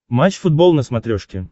матч футбол на смотрешке